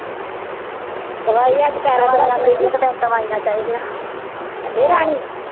ਦਵਾਈ ਅੱਜ ਪੈਰਾਂ ਤੇ ਰੱਖ ਲਈ ਕੇ ਨੀ ਰਾਣੀ